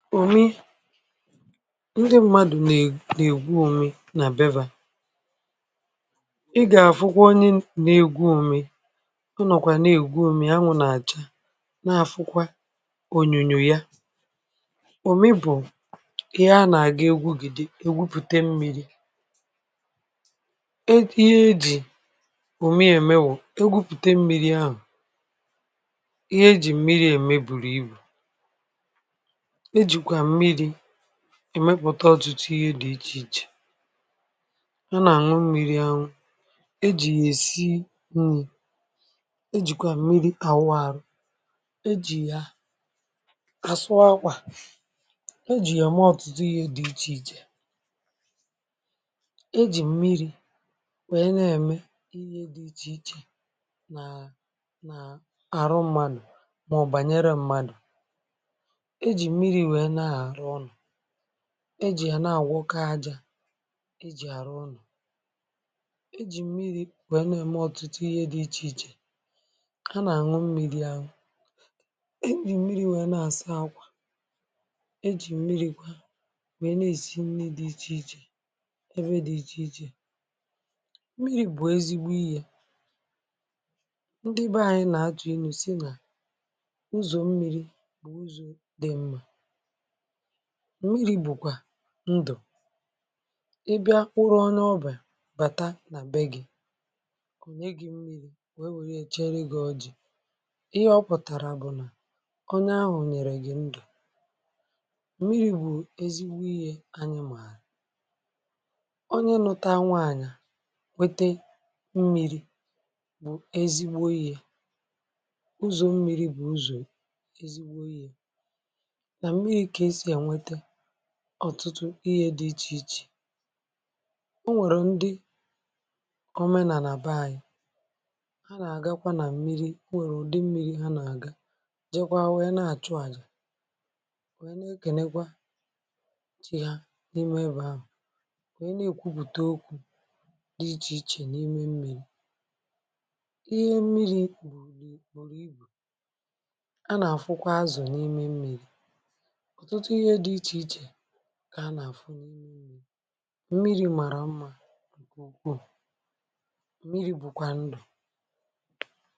Ndị mmadụ̀ nà-ègwù ume, n’àbịa, ị gà-àfụkwa onye n’egwù ume. Ọ nọ̀kwà nà-ègwù ume, ànwụ̇ nà-àchá, nà-àfụkwa ònyònyò ya. Òmị bụ̀ ihe a nà-àga egwú.... Gị dị, egwupùtà mmịrị̇. È ihe ejì òmị èmè, kwụ̀, egwupùtà mmịrị̇ ahụ̀. Ihé ejì mmịrị̇ èmè bụ̀rù ibu, èmèkpùtà ọtụtụ ihe dị iche iche. Yà na-ànwụ mmịrị̇, ànwụ̇ e jì yà, èsí mmịrị̇. E jìkwà mmịrị̇ kà wụ̇ arọ, e jì yà àsụ̀ akwa, e jì yà mụ̀ ọtụtụ ihe dị iche iche. E jì mmịrị̇ wèe na-èmè ihe dị iche um iche nàà, nàà àrụ mmanụ̀. Màọ̀ bànyere mmanụ̀, ejì à nà-àwụkọ ajà, ejì àrụ ọnọ̀. Ejì mmịrị̇ bụ̀ yà nà-èmè ọ̀tụtụ ihe dị iche iche. A nà-àṅụ mmịrị̇. Àṅụ̀. um Ejì mmịrị̇ bụ̀ yà nà-àsà akwa... Ejì mmịrị̇ kwà, wèe na-èshi nri dị iche iche, ebe dị iche iche. Mmịrị̇ bụ̀ ezi̇gbu ìyà. Ndị be anyị̇ nà-àchọ̀ ènù, sị̀ nà ụzọ̀ mmịrị̇, ndụ̀, ị bịa kpụ̀rọ̀ ọnàọ̀bà, bàtà nà be gị. Ònyé gị mmịrị̇, wèe, wèe, chèèrè gị. Ọ jì̇ ihe, ọ pụ̀tàrà bụ̀ nà onye ahụ̀ nyèrè gị ndụ̀. Mmịrị̇ bụ̀ ezigbo ihé. Ànyị màà. Onyé nụ̇tà um nwaànyà, wètè mmịrị̇, bụ̀ ezigbo ihé. Ụzọ̀ mmịrị̇... bụ̀ ụzọ̀ ezigbo ihé. Ọ̀tụtụ ihe dị iche iche o nwèrè. Ndị òmenà nà bàà yì, um hà nà-àgàkwà nà mmịrị̇. Ọ nwèrè ụ̀dị mmịrị̇ hà nà-àgà, jèkwà, wùyè, nà-àchụ̀ àjà, wèe nà-èkènékwà chi hà n’ìmè ebe ahụ̀. Wèe nà-ègwupùtà okwu dị iche iche n’ìmè mmịrị̇. Ihé mmịrị̇ bụ̀rù, bụ̀rù ibu. À nà-àfụkwa azụ̀ n’ìmè mmịrị̇, um.. kà à nà-àfụ mmịrị̇. Mmịrị̇ màrà mma. Mmịrị̇ bụ̀kwà ndụ̀.